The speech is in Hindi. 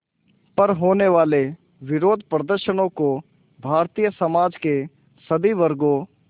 पर होने वाले विरोधप्रदर्शनों को भारतीय समाज के सभी वर्गों